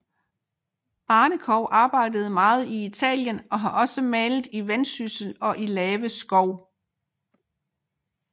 Barnekow arbejdede meget i Italien og har også malet i Vendsyssel og i Lave Skov